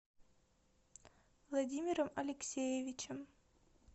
владимиром алексеевичем